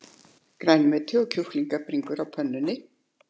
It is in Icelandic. Grænmeti og kjúklingabringur á pönnu